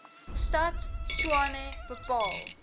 stad tshwane bepaal